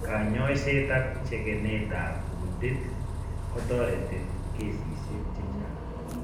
Kanyoiseet ak chekenet ab kundit kotoreti kesisiek chechang'